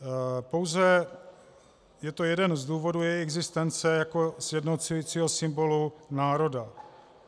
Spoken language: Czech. Pouze je to jeden z důvodů její existence jako sjednocujícího symbolu národa.